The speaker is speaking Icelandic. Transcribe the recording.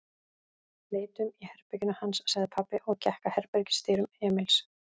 Leitum í herberginu hans, sagði pabbi og gekk að herbergisdyrum Emils.